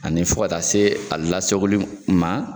Ani fɔ ka taa se a lasakoli ma .